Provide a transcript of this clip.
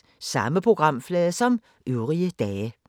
Samme programflade som øvrige dage